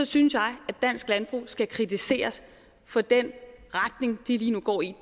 synes jeg at dansk landbrug skal kritiseres for den retning de lige nu går i